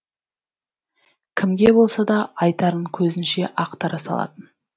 кімге болса да айтарын көзінше ақтара салатын